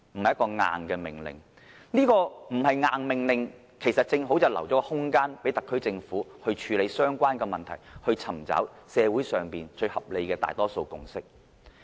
這要求不是"硬命令"的話，其實正好留下空間予特區政府處理相關問題，尋找社會上最合理的大多數共識。